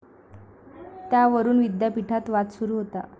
त्यावरून विद्यापीठात वाद सुरू होता.